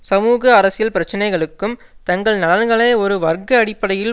சமூக அரசியல் பிரச்சினைகளுக்கும் தங்கள் நலன்களை ஒரு வர்க்க அடிப்படையில்